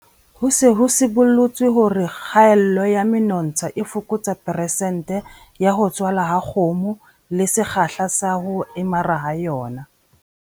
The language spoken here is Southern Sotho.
Ho se ho sibollotswe hore kgaello ya menontsha e fokotsa peresente ya ho tswala ha kgomo le sekgahla sa ho emara ha yona.